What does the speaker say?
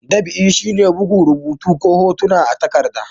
Dab'i shi ne buga rubutu ko hotuna akan takarɗa.